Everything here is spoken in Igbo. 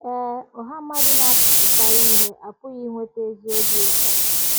Ee, ọha mmadụ na - atụfukarị ihe apụghị iweta ezi obi ụtọ.